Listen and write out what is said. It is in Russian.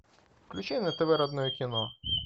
включай на тв родное кино